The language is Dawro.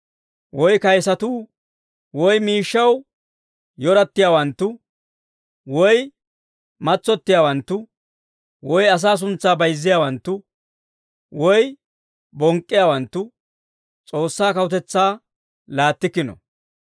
woy kayisatuu woy miishshaw yorattiyaawanttu woy matsottiyaawanttu woy asaa suntsaa bayzziyaawanttu woy bonk'k'iyaawanttu S'oossaa kawutetsaa laattikkino.